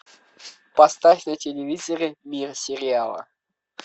поставь на телевизоре мир сериала